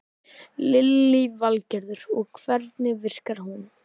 Lillý Valgerður: Og hvernig virkar hún?